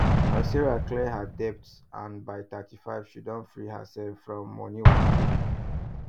as sarah clear her debt first and by 35 she don free herself from money wahala